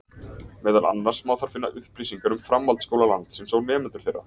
Meðal annars má þar finna upplýsingar um framhaldsskóla landsins og nemendur þeirra.